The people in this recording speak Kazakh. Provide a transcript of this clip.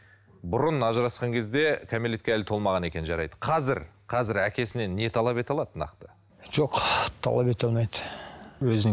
бұрын ажырасқан кезде кәмелетке әлі толмаған екен жарайды қазір қазір әкесінен не талап ете алады нақты жоқ талап ете алмайды өзін